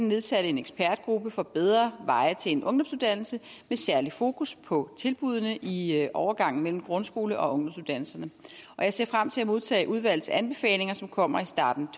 nedsatte en ekspertgruppe for bedre veje til en ungdomsuddannelse med særlig fokus på tilbuddene i overgangen mellem grundskole og ungdomsuddannelserne og jeg ser frem til at modtage udvalgets anbefalinger som kommer i starten